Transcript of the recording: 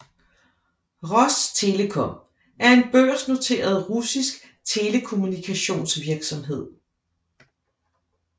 Rostelecom er en børsnoteret russisk telekommunikationsvirksomhed